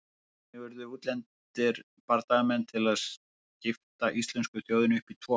Þannig urðu útlendir bardagamenn til að skipta íslensku þjóðinni upp í tvo hópa.